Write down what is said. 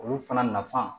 Olu fana nafa